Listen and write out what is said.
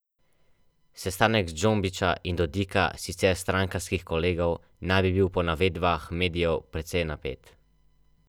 Avstrija se je najbolj odlepila od Slovenije v drugi polovici osemdesetih let in v začetku devetdesetih let.